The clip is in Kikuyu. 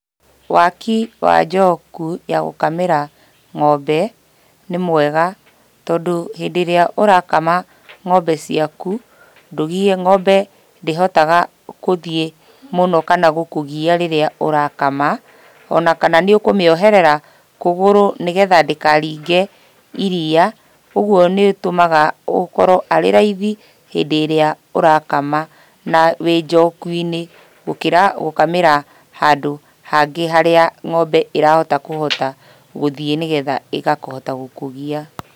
Waki wa njoku ya gũkamĩra ng'ombe nĩ mwega, tondũ hĩndĩ ĩrĩa ũrakama ng'ombe ciaku, ndũgiĩkaga ng'ombe ndĩhotaga gũthiĩ mũno kana gũkũgia rĩrĩa ũrakama, ona kana nĩũkũmĩoherera kũgũrũ nĩgetha ndĩkaringe iria, ũguo nĩtũmaga ũkorwo arĩ raithi hĩndĩ ĩrĩa ũrakama na wĩ njoku-inĩ, gũkĩra gũkamĩra handũ hangĩ harĩa ng'ombe ĩrahota kũhota gũthiĩ na nĩgetha ĩgakũhota gũkũgia.